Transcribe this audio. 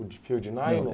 O de fio de nylon?